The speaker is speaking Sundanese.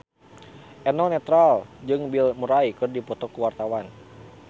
Eno Netral jeung Bill Murray keur dipoto ku wartawan